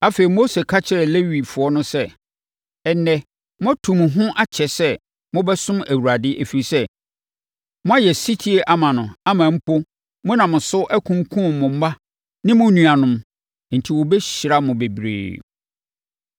Afei, Mose ka kyerɛɛ Lewifoɔ no sɛ, “Ɛnnɛ, moatu mo ho akyɛ sɛ mobɛsom Awurade, ɛfiri sɛ, moayɛ ɔsetie ama no ama mpo, monam so akunkum mo mma ne mo nuanom, enti ɔbɛhyira mo bebree.”